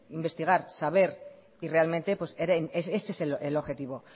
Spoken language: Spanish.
investigar saber y realmente pues ese es el objetivo